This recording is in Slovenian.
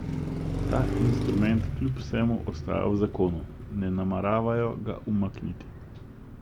Ta instrument kljub vsemu ostaja v zakonu, ne nameravajo ga umakniti.